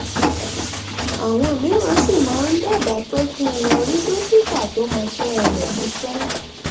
àwọn mìíràn sì máa ń dábàá pé kí n lọ rí dókítà tó mọṣẹ́ rẹ̀ níṣẹ́